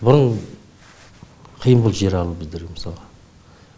бұрын қиын болды жер алу біздерге мысалға